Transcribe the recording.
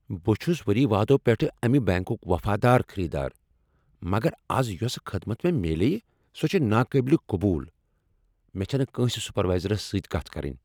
بہٕ چھس ؤری وادو پیٹھٕ امہ بینٛکک وفادار خریدار، مگر از یۄس خدمت مےٚ میلیٛیہ سۄ چھےٚ نا قابل قبول۔ مےٚ چھےٚ نہٕ کٲنٛسہ سپروایزرس سۭتۍ کتھ کرٕنۍ۔